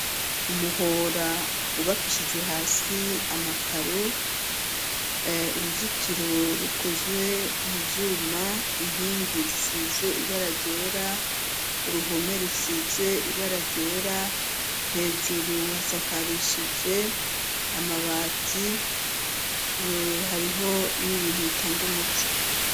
Umuhora wubakishijwe hasi amakaro, uruzitiro rukozwe mu vyuma, inkingi zisize ibara ryera, uruhome rusize ibara ryera. Hejuru hasakarishije amabati, hariho n'ibintu bitanga umuco.